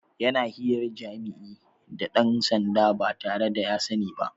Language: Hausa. Yana hirar jima'i da ɗan sanda ba tare da ya sani ba.